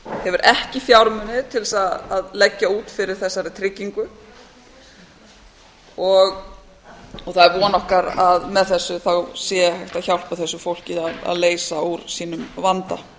hefur ekki fjármuni til þess að leggja út fyrir þessari tryggingu það er von okkar að með þessu sé hægt að hjálpa þessu fólki að leysa úr sínum vanda